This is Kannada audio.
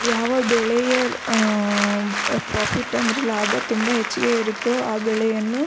ಯಾವ ಬೆಳೆಯ ಆಮ್ ಪ್ರಾಫಿಟ್ ಅಂದರೆ ಲಾಭ ಹೆಚ್ಚಿಗೆ ಇರುತ್ತೋ ಆ ಬೆಳೆಯನ್ನು --